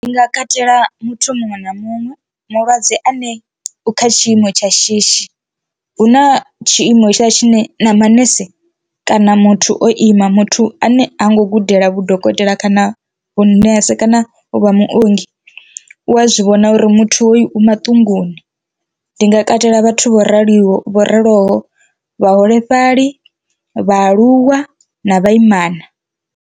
Ndi nga katela muthu muṅwe na muṅwe mulwadze ane u kha tshiimo tsha shishi hu na tshiimo hetshiḽa tshine na manese kana muthu o ima muthu ane ha ngo gudela vhu dokotela kana vhunese kana uvha muongi u a zwivhona uri muthu hoyu maṱunguni, ndi nga katela vhathu vho raliho vho raloho vhaholefhali, vhaaluwa na vhaimana.